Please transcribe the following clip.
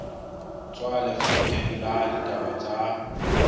tswa lefapheng la ditaba tsa